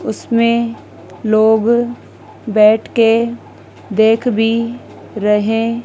उसमें लोग बैठ के देख भी रहे--